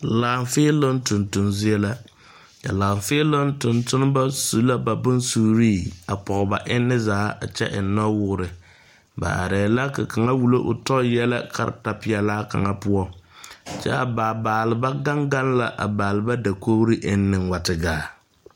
Laafeeloŋ tonton zie la, a laafeeloŋ tontonba su la bonsuuri a pɔge. ba enne zaa a kyɛ eŋ noɔwɔɔre ba are la ka kaŋa wullo o tɔ yɛlɛ karataa pɛlaa kaŋa poɔ kyɛ a baalba gaŋ gaŋ la a baalba dakori enne a wa te gaa.